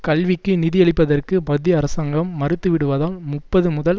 கல்விக்கு நிதியளிப்பதற்கு மத்திய அரசாங்கம் மறுத்து விடுவதால் முப்பது முதல்